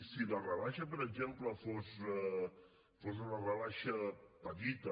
si la rebaixa per exemple fos una rebaixa petita